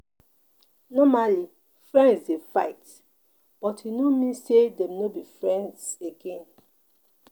Normally, friends dey fight but e no mean say Dem no be friends again.